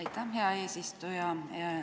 Aitäh, hea eesistuja!